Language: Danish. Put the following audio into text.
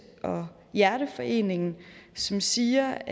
og hjerteforeningen som siger